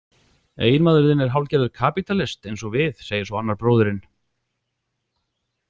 Eiginmaður þinn er hálfgerður kapítalist eins og við, segir svo annar bróðirinn.